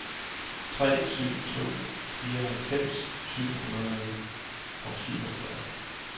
tre tre syv to fireoghalvfems syv hundrede og syvogfyrre